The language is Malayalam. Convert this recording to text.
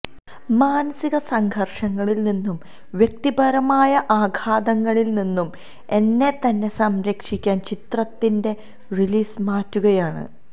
മാനസിക സംഘർഷങ്ങളിൽ നിന്നും വ്യക്തിപരമായ ആഘാതങ്ങളിൽ നിന്നും എന്നെത്തന്നെ സംരക്ഷിക്കാൻ ചിത്രത്തിന്റെ റിലീസ് മാറ്റുകയാണ്